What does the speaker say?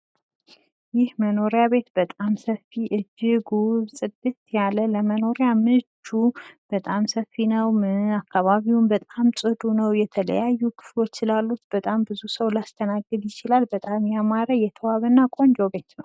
ይህ መኖርያ ቤት በጣም ሰፊ እጅግ ውብ ፅዲት ያለ ለመኖር ምቹ በጣም ሰፊ ነው። አካባቢውም በጣም ጥዱ ነው። የተለያዩ ክፍሎች ስላሉት በጣም ሰው ሊያስተናግድ ይችላል። በጣም ያማረ የተዋበና ቆንጆ ቤት ነው።